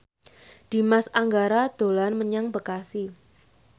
Dimas Anggara dolan menyang Bekasi